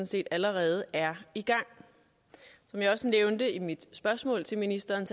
set allerede er i gang som jeg også nævnte i mit spørgsmål til ministeren